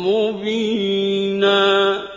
مُّبِينًا